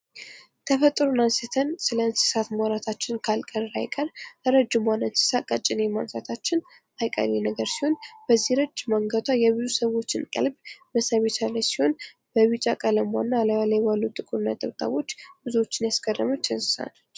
ተፈጥሮን አንስተን ስለ እንስሳት ማውራታችን ካልቀረ አይቀር ረጅሟን እንስሳት ቀጭኔን ማንሳታችን አይቀሬ ነገር ሲሆን በዚህ ረጅም አንገቷ የብዙ ሰዎችን ቀልብ መሳብ የቻለች ሲሆን በቢጫ ቀለሟና እላዋ ላይ ባለው ጥቁር ነጠብጣቦች ብዙዎችን ያስገረመች እንስሳት ነች።